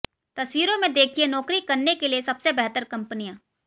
तस्वीरों में देखिए नौकरी करने के लिए सबसे बेहतर कंपनियां